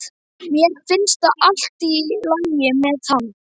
Mér finnst allt í lagi með hann.